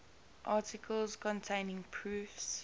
articles containing proofs